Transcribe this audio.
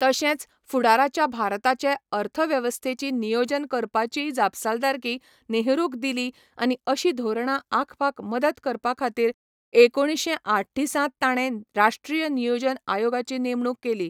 तशेंच फुडाराच्या भारताचे अर्थवेवस्थेची नियोजन करपाचीय जापसालदारकी नेहरूक दिली आनी अशी धोरणां आंखपाक मदत करपाखातीर एकुणशे आठ्ठीसांत ताणें राष्ट्रीय नियोजन आयोगाची नेमणूक केली.